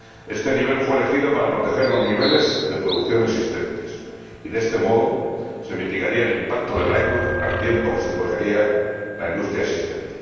Este nivel fue elegido para proteger los niveles de producción existentes y, de este modo, se mitigaría el impacto del ILUC al tiempo que se protegería la industria existente.